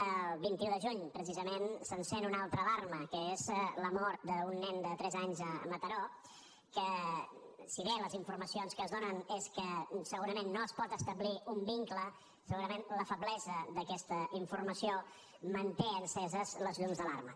el vint un de juny precisament s’encén una altra alarma que és la mort d’un nen de tres anys a mataró que si bé les informacions que es donen és que segurament no es pot establir un vincle segurament la feblesa d’aquesta informació manté enceses les llums d’alarma